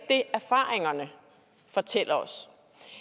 det erfaringerne fortæller os